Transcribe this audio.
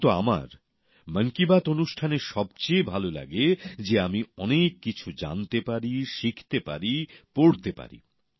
কিন্তু আমার মন কী বাত অনুষ্ঠানে সব চেয়ে ভাল লাগে যে আমি অনেক কিছু জানতে পারি শিখতে পারি পড়তে পারি